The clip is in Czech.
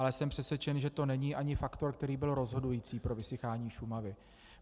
Ale jsem přesvědčen, že to není ani faktor, který byl rozhodující pro vysychání Šumavy.